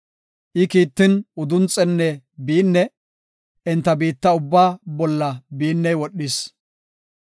I kiittin, udunxenne biinne enta biitta ubbaa bolla biinney wodhis.